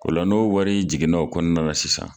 O la n'o wari jiginna o kɔnɔna la sisan